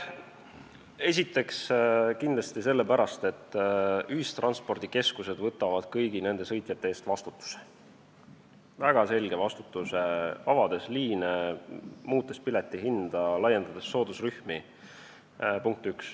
Esiteks, kindlasti sellepärast, et ühistranspordikeskustel on kõigi nende sõitjate ees väga selge vastutus, kui nad avavad liine, muudavad piletihinda, laiendavad soodusrühmi.